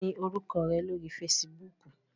Kini oruko re lori Fèsìbúukù?